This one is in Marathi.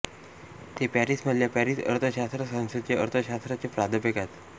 ते पॅरिसमधल्या पॅरिस अर्थशास्त्र संस्थेत अर्थशास्त्राचे प्राध्यापक आहेत